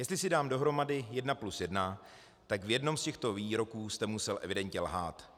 Jestli si dám dohromady jedna plus jedna, tak v jednom z těchto výroků jste musel evidentně lhát.